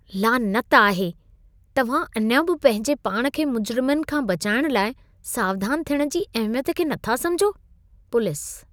लानत आहे! तव्हां अञा बि पंहिंजे पाण खे मुजिरमनि खां बचाइण लाइ सावधान थियण जी अहिमियत खे नथा समिझो। (पुलिस)